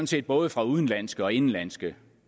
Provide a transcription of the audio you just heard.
set både fra udenlandske og indenlandske